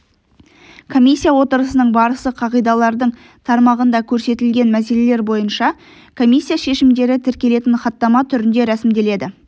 комиссия отырысының барысы қағидалардың тармағында көрсетілген мәселелер бойынша комиссия шешімдері тіркелетін хаттама түрінде ресімделеді